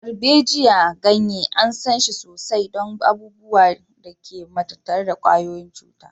Darbejiya, ganye, an san shi sosai don abubuwan da ke tattare da ƙwayoyin cuta.